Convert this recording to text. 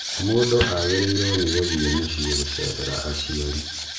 Mũndũ agĩrirwo nĩgũthiĩ mũciĩ gũcerera aciari.